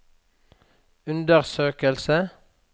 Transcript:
undersøke